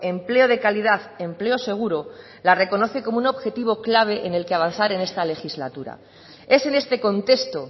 empleo de calidad empleo seguro la reconoce como un objetivo clave en el que avanzar en esta legislatura es en este contexto